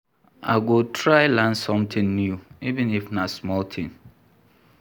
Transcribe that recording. I go try learn sometin new, even if na small tin.